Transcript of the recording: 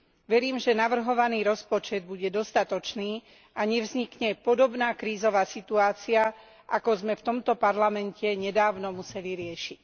Verím, že navrhovaný rozpočet bude dostatočný a nevznikne podobná krízová situácia, ako sme v tomto parlamente nedávno museli riešiť.